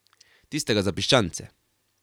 Tistega za piščance.